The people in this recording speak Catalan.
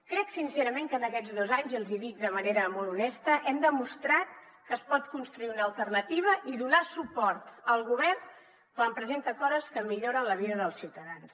crec sincerament que en aquests dos anys i els hi dic de manera molt honesta hem demostrat que es pot construir una alternativa i donar suport al govern quan presenta coses que milloren la vida dels ciutadans